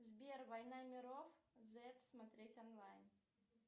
сбер война миров зет смотреть онлайн